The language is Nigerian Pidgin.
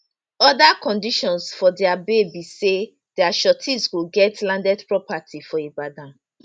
oda conditions for dia bail be say dia sureties go get landed property for ibadan